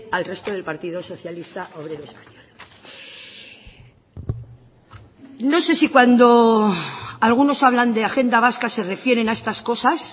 al resto del partido socialista obrero español no sé si cuando algunos hablan de agenda vasca se refieren a estas cosas